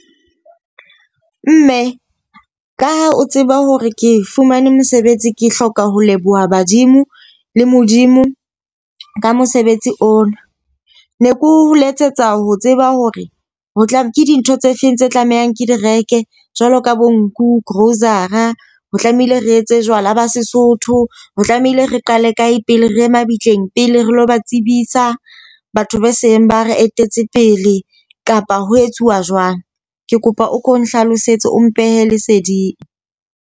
Mme, ka ha o tseba hore ke fumane mosebetsi, ke hloka ho leboha badimo le Modimo ka mosebetsi ona. Ne keo letsetsa ho tseba hore ho tla ke dintho tse feng tse tlamehang ke di reke jwalo ka bo nku, grocery. Ho tlamehile re etse jwala ba Sesotho, ho tlamehile re qale kae pele, re ye mabitleng pele re lo ba tsebisa batho be seng ba re etetse pele, kapa ho etsuwa jwang? Ke kopa o ko nhlalosetse o mphe leseding.